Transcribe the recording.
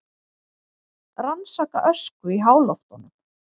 Rannsaka ösku í háloftunum